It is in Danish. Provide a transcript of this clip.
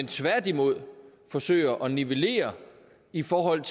tværtimod forsøger at nivellere i forhold